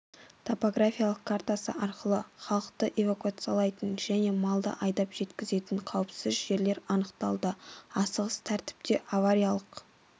топографиялық картасы арқылы халықты эвакуациялайтын және малды айдап жеткізетін қауіпсіз жерлер анықталды асығыс тәртіпте авариялық